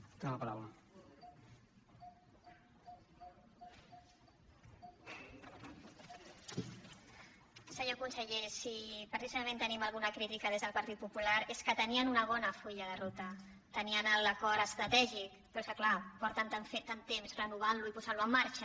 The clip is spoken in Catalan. senyor conseller si precisament tenim alguna crítica des del partit popular és que tenien un bon full de ruta tenien l’acord estratègic però clar porten tant temps renovant·lo i posant·lo en marxa